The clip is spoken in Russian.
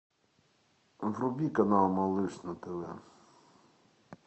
вруби канал малыш на тв